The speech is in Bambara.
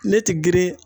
Ne ti girin